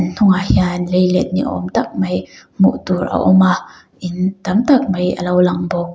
hnungah hian leilet ni awm tak mai hmuh tur a awm a in tam tak mai a lo lang bawk.